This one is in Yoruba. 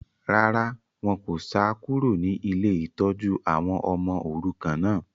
Rárá, wọn kò sá kúrò ní ilé ìtọ́jú àwọn ọmọ òrukàn náà